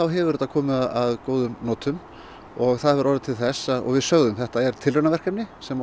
hefur þetta komið að góðum notum og það hefur orðið til þess og við sögðum að þetta er tilraunaverkefni sem